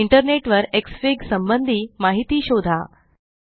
internet वर एक्स फिग संबंधी माहिती शोधा